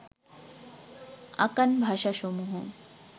আকান ভাষাসমূহ